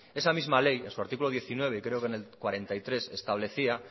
esa misma ley en su artículo diecinueve y creo que en el cuarenta y tres establecía